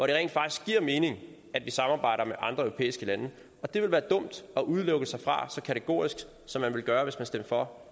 det rent faktisk giver mening at vi samarbejder med andre europæiske lande og det ville være dumt at udelukke sig fra så kategorisk som man ville gøre hvis man stemte for